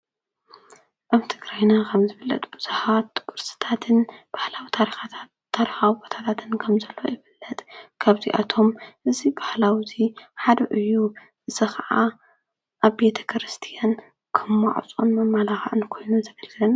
ኣብ ትግራይና ከምዝፍለጥ ብዙሓት ቅርስታት ባህላዊ ታሪካዊ ቦታታት ከምዘሎ ይፍለጥ፡፡ ካብዚኣቶም እዚ ባህላዊ እዚ ሓደ እዩ፡፡ እዚ ከዓ ኣብ ቤተ ክርስትያን ከም ማዕፆን መማላክዕን ኮይኑ ዘገልግልን